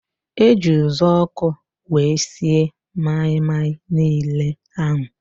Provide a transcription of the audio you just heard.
Eji uzuọkụ wee sie maị-maị niile ahụ